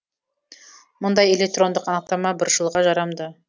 мұндай электрондық анықтама бір жылға жарамды